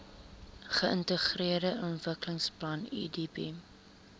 geintegreerde ontwikkelingsplan idp